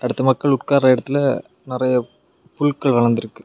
அடுத்து மக்கள் உட்கார இடத்துல நெறைய புல்கள் வளந்திருக்கு.